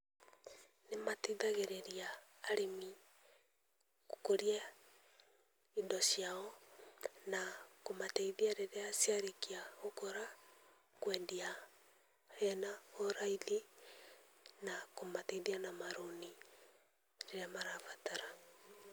Nĩmateithagĩrĩria arĩmi gũkũria indo ciao, na kũmateithia rĩrĩa ciarĩkia gũkũra, kwendia hena ũraithi, na kũmateithia na marũni rĩrĩa marabatara.